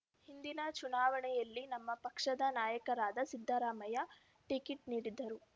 ಹಿಂದಿನ ಚುನಾವಣೆಯಲ್ಲಿ ನಮ್ಮ ಪಕ್ಷದ ನಾಯಕರಾದ ಸಿದ್ದರಾಮಯ್ಯ ಟಿಕೆಟ್‌ ನೀಡಿದ್ದರು